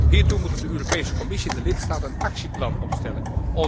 Hiertoe moeten de Europese Commissie en de lidstaten een actieplan opstellen.